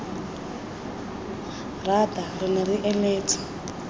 rata re ne re eletsa